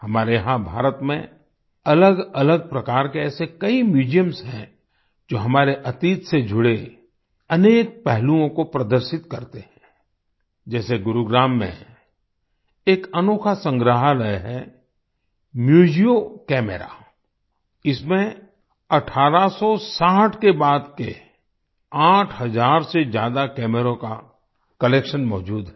हमारे यहां भारत में अलगअलग प्रकार के ऐसे कई म्यूजियम्स हैं जो हमारे अतीत से जुड़े अनेक पहलुओं को प्रदर्शित करते हैं जैसे गुरुग्राम में एक अनोखा संग्रहालय है म्यूजियो कैमेरा इसमें 1860 के बाद के 8 हजार से ज्यादा कैमरों का कलेक्शन मौजूद है